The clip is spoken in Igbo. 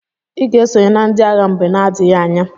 Iga esonye na ndi agha mgbe na adighi anya!!